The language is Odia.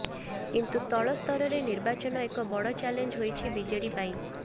କିନ୍ତୁ ତଳ ସ୍ତରରେ ନିର୍ବାଚନ ଏକ ବଡ଼ ଚାଲେଞ୍ଜ ହୋଇଛି ବିଜେଡି ପାଇଁ